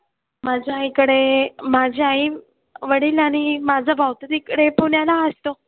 माझ्या आईकडे माझी आई, वडील आणि माझा भाऊ तर तिकडे पुण्याला असतो.